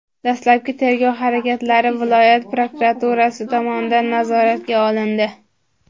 Dastlabki tergov harakatlari viloyat prokuraturasi tomonidan nazoratga olindi.